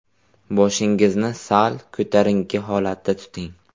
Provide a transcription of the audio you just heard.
Boshingizni sal ko‘tarinki holatda tuting.